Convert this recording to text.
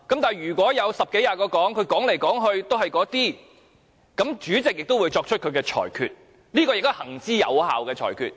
但是，如果有十多二十人發言，來來去去也是說這些論據，主席便會作出他的裁決，這亦是行之有效的裁決。